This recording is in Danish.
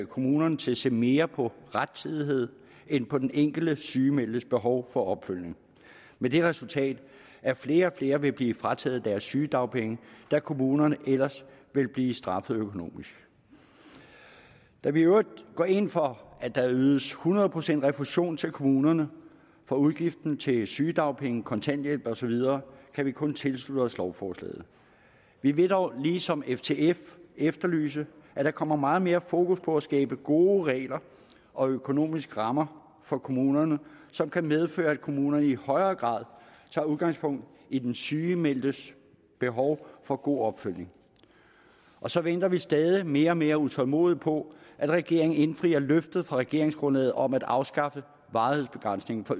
kommunerne til at se mere på rettidighed end på den enkelte sygemeldtes behov for opfølgning med det resultat at flere og flere ville blive frataget deres sygedagpenge da kommunerne ellers ville blive straffet økonomisk da vi i øvrigt går ind for at der ydes hundrede procent refusion til kommunerne for udgiften til sygedagpenge kontanthjælp osv kan vi kun tilslutte os lovforslaget vi vil dog ligesom ftf efterlyse at der kommer meget mere fokus på at skabe gode regler og økonomiske rammer for kommunerne som kan medføre at kommunerne i højere grad tager udgangspunkt i den sygemeldtes behov for god opfølgning og så venter vi stadig væk mere og mere utålmodigt på at regeringen indfrier løftet fra regeringsgrundlaget om at afskaffe varighedsbegrænsningen for